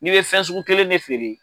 N'i be fɛn sugu kelen de feere,